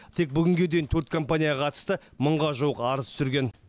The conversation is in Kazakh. тек бүгінге дейін төрт компанияға қатысты мыңға жуық арыз түсірген